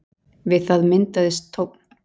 við það myndaðist tónn